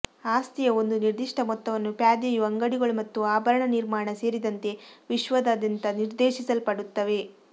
ಆಸ್ತಿಯ ಒಂದು ನಿರ್ದಿಷ್ಟ ಮೊತ್ತವನ್ನು ಪ್ಯಾದೆಯು ಅಂಗಡಿಗಳು ಮತ್ತು ಆಭರಣ ನಿರ್ಮಾಣ ಸೇರಿದಂತೆ ವಿಶ್ವದಾದ್ಯಂತ ನಿರ್ದೇಶಿಸಲ್ಪಡುತ್ತವೆ